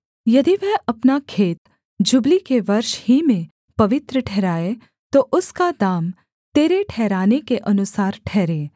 यदि वह अपना खेत जुबली के वर्ष ही में पवित्र ठहराए तो उसका दाम तेरे ठहराने के अनुसार ठहरे